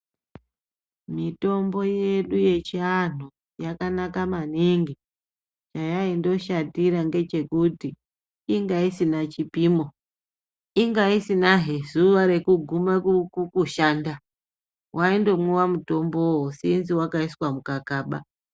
Mitombo yedu yechiantu yakanaka maningi nyaya yayanga yakashatira ndeye kuti inga isina chipimo inga isina he zuwa rekuguma kukushanda waingomwiwa mutombo Sinzi wakaiswa mukakaba.